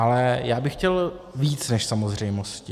Ale já bych chtěl víc než samozřejmosti.